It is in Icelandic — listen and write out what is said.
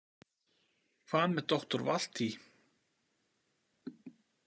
Hvað með doktor Valtý?